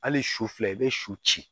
Hali su fila i bɛ su ci